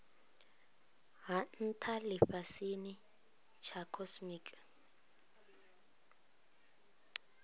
ha ntha lifhasini tsha cosmic